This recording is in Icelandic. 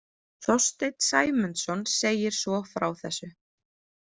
Þorsteinn Sæmundsson segir svo frá þessu